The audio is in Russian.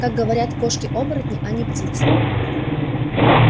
как говорят кошки-оборотни а не птицы